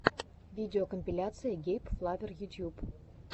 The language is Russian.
видеокомпиляция гейб флавер ютьюб